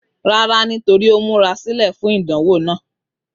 Rárá, nítorí ó múra sílẹ̀ fún ìdánwò náà.